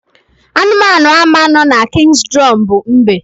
Anụmanụ ama no na King's Drum bu mbe